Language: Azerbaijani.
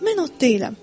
Mən ot deyiləm.